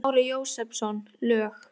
Smári Jósepsson, lög